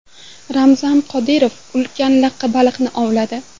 Ramzan Qodirov ulkan laqqa baliqni ovladi.